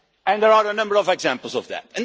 And there are a number of examples of